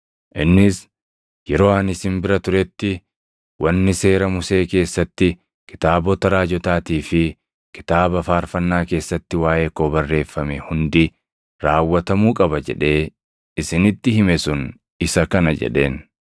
Innis, “Yeroo ani isin bira turetti, ‘Wanni seera Musee keessatti, kitaabota raajotaatii fi kitaaba faarfannaa keessatti waaʼee koo barreeffame hundi raawwatamuu qaba’ jedhee isinitti hime sun isa kana” jedheen.